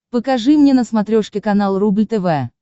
покажи мне на смотрешке канал рубль тв